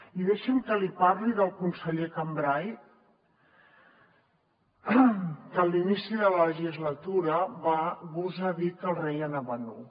i deixi’m que li parli del conseller cambray que a l’inici de la legislatura va gosar dir que el rei anava nu